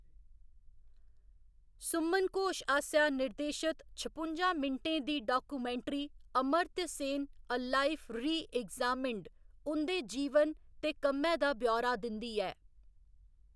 सुमन घोश आसेआ निर्देशत छपुंजा मिंटें दी documentary 'Amartya Sen, a life reexamined' उं'दे जीवन ते कम्मै दा ब्यौरा दिंदी ऐ।